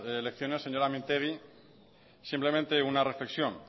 elecciones señora mintegi simplemente una reflexión